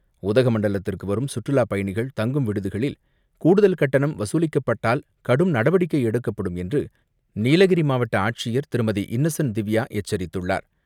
உதகமண்டலத்திற்கு வரும் சுற்றுலா பயணிகள் தங்கும் விடுதிகளில் கூடுதல் கட்டணம் வசூலிக்கப்பட்டால் கடும் நடவடிக்கை எடுக்கப்படும் என்று நீலகிரி மாவட்ட ஆட்சியர் திருமதி இன்னசென்ட் திவ்யா எச்சரித்துள்ளார்.